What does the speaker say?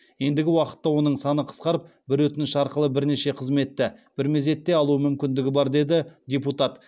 ендігі уақытта оның саны қысқарып бір өтініш арқылы бірнеше қызметті бір мезетте алу мүмкіндігі бар деді депутат